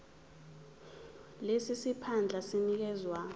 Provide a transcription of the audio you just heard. lesi siphandla sinikezwa